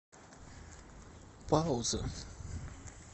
пауза